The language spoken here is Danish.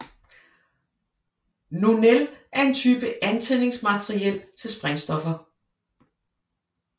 Nonel er en type antændingsmateriel til sprængstoffer